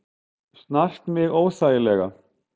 Snart mig óþægilega.